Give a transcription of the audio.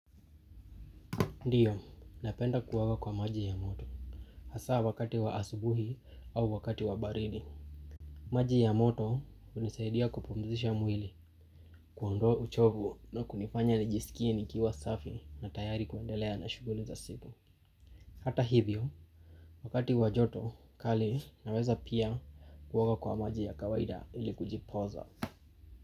Ndiyo, napenda kuoga kwa maji ya moto. Hasa wakati wa asubuhi au wakati wa baridi. Maji ya moto hunisaidia kupumzisha mwili, kuondoa uchovu na kunifanya nijiskie nikiwa safi na tayari kuendelea na shuguli za siku. Hata hivyo, wakati wa joto, kali naweza pia kuoga kwa maji ya kawaida ili kujipoza.